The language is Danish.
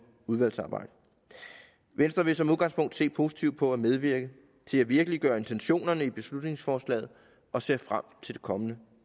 udvalgsarbejde venstre vil som udgangspunkt se positivt på at medvirke til at virkeliggøre intentionerne i beslutningsforslaget og ser frem til det kommende